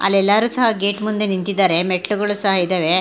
ಅಲ್ಲೇಲ್ಲಾರು ಸಹ ಗೇಟ್ ಮುಂದೆ ನಿಂತಿದ್ದಾರೆ ಮೆಟ್ಲಲುಗಳು ಸಹ ಇದವೆ.